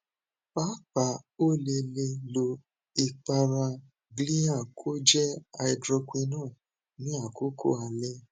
paapaa o le le lo ipara glyaha koj hydroquinone ni akoko alẹ